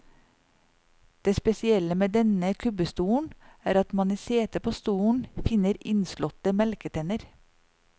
Det spesielle med denne kubbestolen er at man i setet på stolen finner innslåtte melketenner.